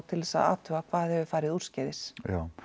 til þess að athuga hvað hafi farið úrskeiðis